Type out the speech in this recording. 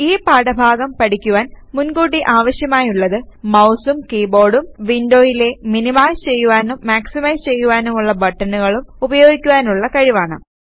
ഈ പാഠഭാഗം പഠിക്കുവാൻ മുൻ കൂട്ടി ആവശ്യമായുള്ളത് മൌസും കീബോർഡൂം വിൻഡോയിലെ മിനിമൈസ് ചെയ്യുവാനും മാക്സിമൈസ് ചെയ്യുവാനുമുള്ള ബട്ടണുകളും ഉപയോഗിക്കുവാനുള്ള കഴിവാണ്